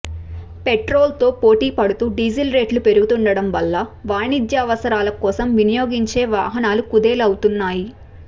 పెట్రోల్తో పోటీ పడుతూ డీజిల్ రేట్లు పెరుగుతోండటం వల్ల వాణిజ్యావసరాల కోసం వినియోగించే వాహనాలు కుదేల్ అవుతున్నాయి